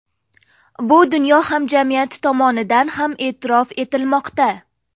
Bu dunyo hamjamiyati tomonidan ham e’tirof etilmoqda.